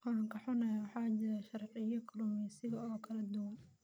Waan ka xunnahay, waxaa jira sharciyo kalluumeysi oo kala duwan.